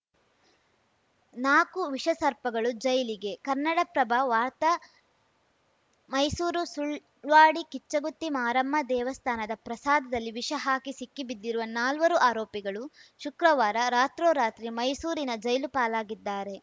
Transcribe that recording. ನಾಕು ವಿಷಸರ್ಪಗಳು ಜೈಲಿಗೆ ಕನ್ನಡಪ್ರಭ ವಾರ್ತಾ ಮೈಸೂರು ಸುಳ್ವಾಡಿ ಕಿಚ್ಚುಗುತ್ತಿ ಮಾರಮ್ಮ ದೇವಸ್ಥಾನದ ಪ್ರಸಾದದಲ್ಲಿ ವಿಷ ಹಾಕಿ ಸಿಕ್ಕಿಬಿದ್ದಿರುವ ನಾಲ್ವರು ಆರೋಪಿಗಳು ಶುಕ್ರವಾರ ರಾತ್ರೋರಾತ್ರಿ ಮೈಸೂರಿನ ಜೈಲುಪಾಲಾಗಿದ್ದಾರೆ